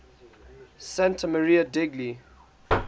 santa maria degli